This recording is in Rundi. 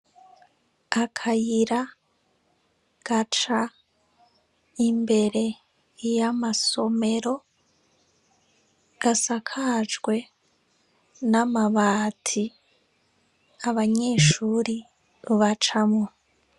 Akayira gaca imbere y'amasomero gisakajwe n 'amabati abanyeshure bacamwo.